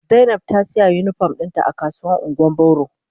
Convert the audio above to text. Zainab ta siya unipom dinta a kasuwar ungwan boro.